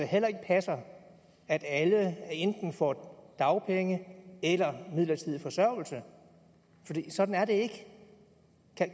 heller ikke passer at alle enten får dagpenge eller midlertidig forsørgelse sådan er det ikke